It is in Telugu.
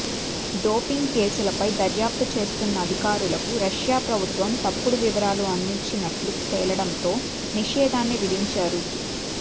డోపింగ్ కేసులపై దర్యాప్తు చేస్తున్న అధికారులకు రష్యా ప్రభుత్వం తప్పుడు వివరాలు అందించినట్లు తేలడంతో నిషేధాన్ని విధించారు